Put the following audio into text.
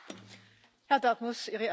I think that's two questions.